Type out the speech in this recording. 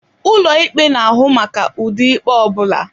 Ụlọ ikpe na-ahụ maka ụdị ikpe ọ bụla.